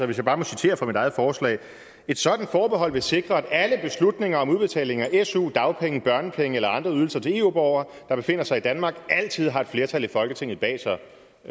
hvis jeg bare må citere fra mit eget forslag et sådant forbehold vil sikre at alle beslutninger om udbetalinger af su dagpenge børnepenge eller andre ydelser til eu borgere der befinder sig i danmark altid har et flertal i folketinget bag sig